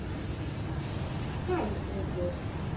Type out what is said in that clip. Sæl, Urður.